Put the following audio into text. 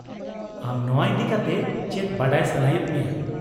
ᱟᱢ ᱱᱚᱶᱟ ᱤᱫᱤ ᱠᱟᱛᱮ ᱪᱮᱫ ᱵᱟᱰᱟᱭ ᱥᱟᱱᱟᱭᱮᱫ ᱢᱮᱭᱟ ?